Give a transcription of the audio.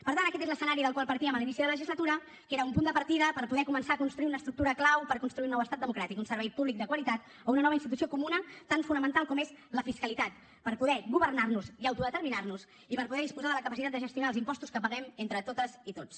per tant aquest és l’escenari del qual partíem a l’inici de la legislatura que era un punt de partida per poder començar a construir una estructura clau per construir un nou estat democràtic un servei públic de qualitat o una nova institució comuna tan fonamental com és la fiscalitat per poder governar nos i autodeterminar nos i per poder disposar de la capacitat de gestionar els impostos que paguem entre totes i tots